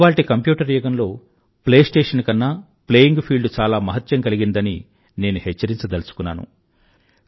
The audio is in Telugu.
ఇవాల్టి కంప్యూటర్ యుగంలో ప్లేస్టేషన్ కన్నా ప్లేయింగ్ ఫీల్డ్ చాలా మహత్యం కలిగినదని నేను హెచ్చరించదలచుకున్నాను